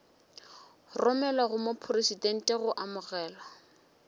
romelwa go mopresidente go amogelwa